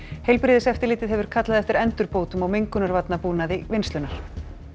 heilbrigðiseftirlitið hefur kallað eftir endurbótum á mengunarvarnabúnaði vinnslunnar